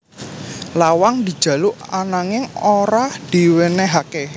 Lawang dijaluk ananging ora diwènèhaké